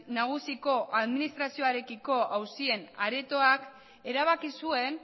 nagusiko administrazioarekiko auzien aretoak erabaki zuen